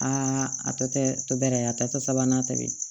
Aa a tɔ tɛ to bɛrɛ a tɔ tɛ sabanan tɛmɛn